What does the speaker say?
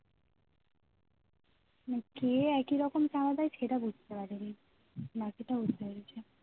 মানে কে একই রকম চাঁদা দেয় সেটা বুঝতে পারিনি বাকিটা বুঝতে পেরেছি